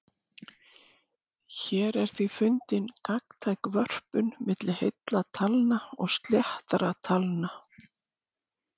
Hér er því fundin gagntæk vörpun milli heilla talna og sléttra talna.